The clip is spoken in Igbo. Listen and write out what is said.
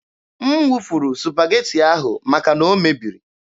M wụfuru Supageti ahụ maka na o mebiri.